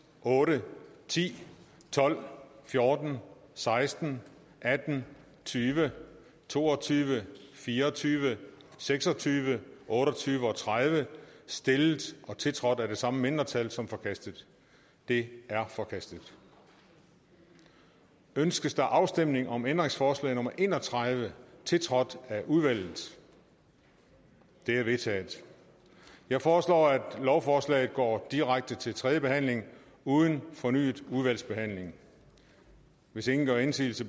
otte ti tolv fjorten seksten atten tyve to og tyve fire og tyve seks og tyve otte og tyve og tredive stillet og tiltrådt af de samme mindretal som forkastet de er forkastet ønskes afstemning om ændringsforslag nummer en og tredive tiltrådt af udvalget det er vedtaget jeg foreslår at lovforslaget går direkte til tredje behandling uden fornyet udvalgsbehandling hvis ingen gør indsigelse